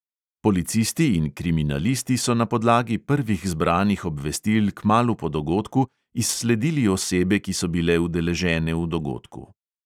Policisti in kriminalisti so na podlagi prvih zbranih obvestil kmalu po dogodku izsledili osebe, ki so bile udeležene v dogodku.